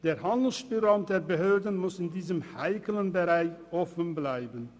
Der Handlungsspielraum der Behörden muss in diesem heiklen Bereich offenbleiben.